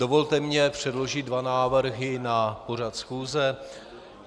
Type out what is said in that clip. Dovolte mi předložit dva návrhy na pořad schůze.